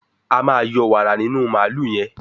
a ma yọ wààra nínú Mààlúù yen.